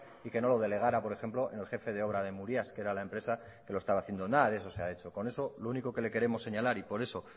y que no lo delegara por ejemplo en el jefe de obra de murias que era la empresa que lo estaba haciendo nada de eso se ha hecho con eso lo único que le queremos señalar y por eso